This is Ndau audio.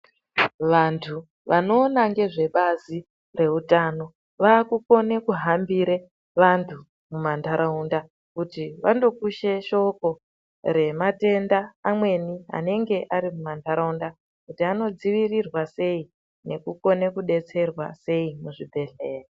Vantu vanoona ngezvebazi rehutano vakukone kuhambire vantu mumantaraunda kuti vandokushe shoko rematenda amweni anonge ari mumantaraunda. Kuti anodzirirwe sei nekukone kubetserwa sei muzvibhedhlera.